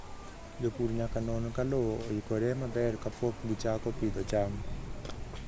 Jopur nyaka non ka lowo oikore maber kapok gichako pidho cham.